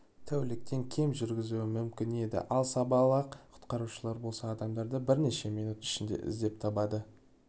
тәуліктен кем жүргізуі мүмкін еді ал сабалақ құтқарушылар болса адамдарды бірнеше минут ішінде іздеп табады